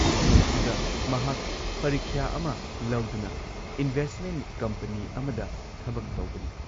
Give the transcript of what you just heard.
ꯃꯐꯝ ꯑꯗꯨꯗ ꯃꯍꯥꯛ ꯄꯔꯤꯈ꯭ꯌꯥ ꯑꯃ ꯂꯧꯗꯨꯅ ꯏꯟꯚꯦꯁꯠꯃꯦꯟꯠ ꯀꯝꯄꯅꯤ ꯑꯃꯗ ꯊꯕꯛ ꯇꯧꯕꯅꯤ ꯫